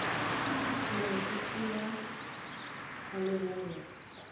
mantši ke a a lebanego